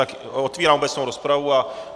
Tak otevírám obecnou rozpravu...